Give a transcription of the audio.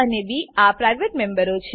એ અને બી આ પ્રાઇવેટ મેમ્બરો છે